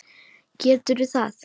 Gerðu það.